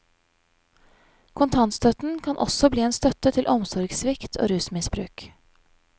Kontantstøtten kan også bli en støtte til omsorgssvikt og rusmisbruk.